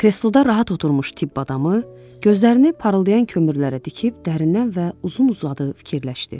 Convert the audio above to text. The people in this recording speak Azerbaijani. Kresloda rahat oturmuş tibb adamı gözlərini parıldayan kömürlərə dikib dərindən və uzun-uzadı fikirləşdi.